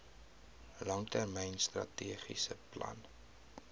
langtermyn strategiese plan